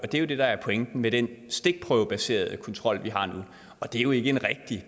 det er det der er pointen med den stikprøvebaserede kontrol vi har nu og det er jo ikke en rigtig